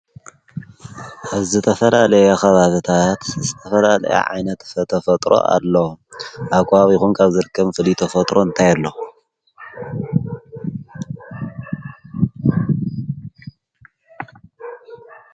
ኣብ ዘተፈላ ለየኻባትታት ዝተፈላ ለየ ዓይነት ፈተፈጥሮ ኣለ ኣጓቢኹን ካብ ዘርከም ፍሊተፈጥሮ እንተየሎ።